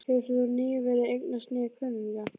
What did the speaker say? Hefur hún nýverið eignast nýja kunningja?